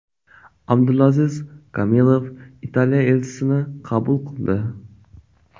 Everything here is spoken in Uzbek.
Abdulaziz Kamilov Italiya elchisini qabul qildi.